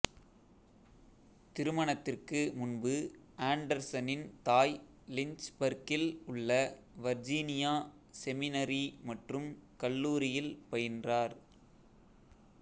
திருமணத்திற்கு முன்பு ஆண்டர்சனின் தாய் லிஞ்ச்பர்க்கில் உள்ள வர்ஜீனியா செமினரி மற்றும் கல்லூரியில் பயின்றார்